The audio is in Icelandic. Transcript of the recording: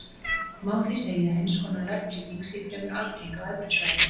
Má því segja að eins konar verðtrygging sé fremur algeng á evrusvæðinu.